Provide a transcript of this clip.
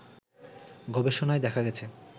গবেষণায় দেখা গেছে